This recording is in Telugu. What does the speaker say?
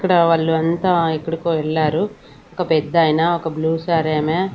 ఇక్కడ వాళ్ళు అంతా ఎక్కడికో వెళ్ళారు ఒక పెద్దాయన ఒక బ్లూ సారీ ఆమె.